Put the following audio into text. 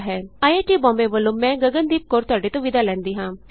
ਅਤੇ ਆਈਆਈਟੀ ਬੋਂਬੇ ਵਲੋਂ ਮੈਂ ਗਗਨ ਦੀਪ ਕੌਰ ਤੁਹਾਡੇ ਤੋਂ ਵਿਦਾ ਲੈਂਦੀ ਹਾਂ